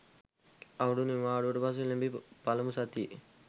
අවුරුදු නිවාඩුවට පසු එළැඹි පළමු සතියේ